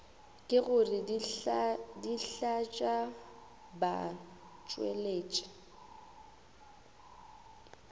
ke gore dihlaa tša batšweletši